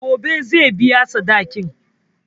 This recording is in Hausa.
Gobe zai biya sadakin.